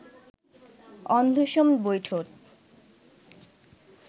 অন্ধসম বৈঠত